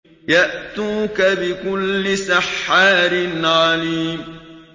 يَأْتُوكَ بِكُلِّ سَحَّارٍ عَلِيمٍ